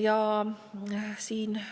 Ja sellega,